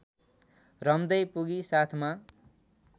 रम्दै पुगी साथमा